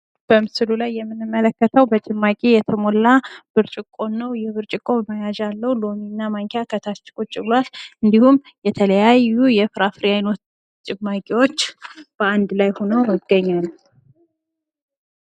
በምስሉ ላይ የምንመለከተው በጭማቂ የተሞላ ብርጭቆን ነው ። ይህ ብርጭቆ መያዣ አለው ሎሚ እና ማንኪያ ከታች ቁጭ ብሏል ። እንዲሁም የተለያዩ የፍራፍሬ ጭማቂዎች በአንድ ላይ ሆነው ይገኛሉ ።